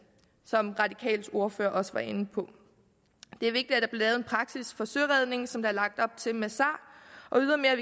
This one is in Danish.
som de radikales ordfører også var inde på det er vigtigt at der lavet en praksis for søredning som der er lagt op til med sar og ydermere